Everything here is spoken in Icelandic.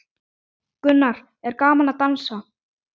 Gunnar: Er gaman að dansa?